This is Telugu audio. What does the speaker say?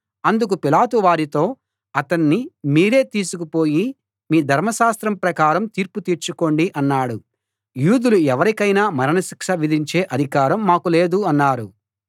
అందుకు పిలాతు వారితో అతణ్ణి మీరే తీసుకుపోయి మీ ధర్మశాస్త్రం ప్రకారం తీర్పు తీర్చుకోండి అన్నాడు యూదులు ఎవరికైనా మరణశిక్ష విధించే అధికారం మాకు లేదు అన్నారు